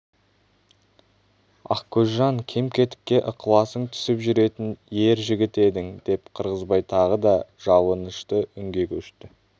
ақкөзжан кем-кетікке ықыласың түсіп жүретін ер жігіт едің деп қырғызбай тағы да жалынышты үнге көшті